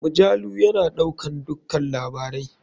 Majalu ya na ɗaukan dukka labarai.